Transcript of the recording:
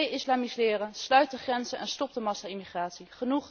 De islamiseren, sluit de grenzen en stop de massa immigratie!